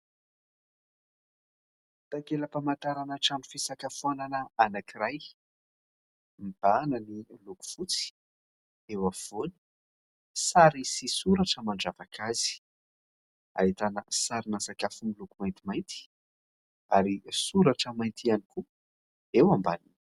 Takela-pamantarana trano fisakafoanana anankiray, mibahana ny loko fotsy eo afovoany, sary sy soratra mandravaka azy. Ahitana sarina sakafo miloko maintimainty ary soratra mainty ihany koa eo ambany.